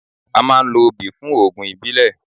A máa ń lo obì fún oògùn ìbílẹ̀.